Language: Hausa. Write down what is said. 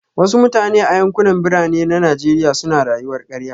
Wasu mutane a yankunan Birane na Najeriya suna rayuwar karya